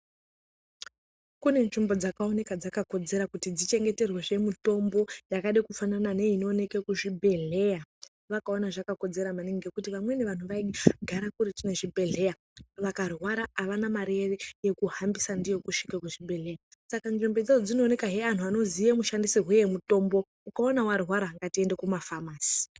Kune nzvimbo dzakaoneka dzakakodzera kuti dzichengeterwezve mitombo yakade kufanana neinooneke kuzvibhedhleya. Vakaona zvakakodzera maningi ngekuti vamweni vanhu vaigara kuretu ngezvibhehleya vakarwara avana mari yekuhambisà ndiyo kusvika kuzvibhedhleya. Saka nzvimbo idzodzo dzinoonekahe anhu anoziye mishandisirwe emitombo. Ukaona warwara ngatiende kumafamasi.